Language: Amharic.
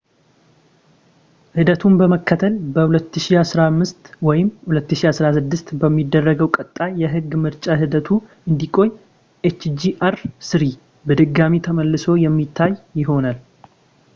ሂደቱን በመከተል በ2015 ወይም 2016 በሚደረገው ቀጣይ የሕግ ምርጫ ሂደቱ እንዲቆይ hjr-3 በድጋሚ ተመልሶ የሚታይ ይሆናል